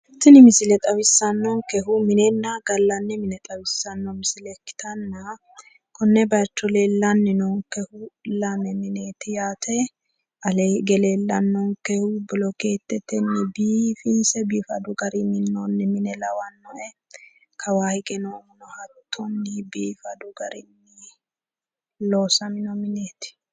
Tini misile xawissannonkehu minenna gallanni mine xawissanno misile ikkitanna, konne bayicho leellanni noonkehu lame mineeti yaate. Alee hige leellannonkehu bilokeetetenni biifinse biifadu gari minnooni mine lawannoe. Kawaa higeno hattonni biifadu gari loosamino mineeti.